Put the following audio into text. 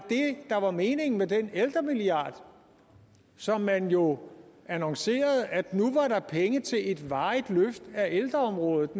der var meningen med den ældremilliard som man jo annoncerede gav penge til et varigt løft af ældreområdet